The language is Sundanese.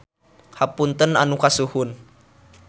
Hapunten anu kasuhun.